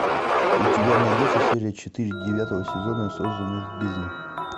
у тебя найдется серия четыре девятого сезона созданный в бездне